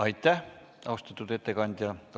Aitäh, austatud ettekandja!